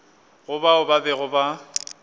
go bao ba bego ba